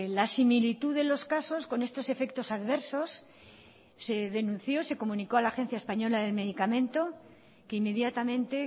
la similitud de los casos con estos efectos adversos se denunció se comunicó a la agencia española del medicamento que inmediatamente